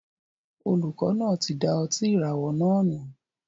Olùkọ náà tí da ọtí ìràwọ̀ náà nù